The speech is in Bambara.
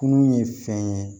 Kunun ye fɛn ye